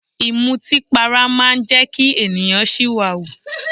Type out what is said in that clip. Ìmọtínpara máa ń jẹ́ kí ènìyàn ṣìwàhù.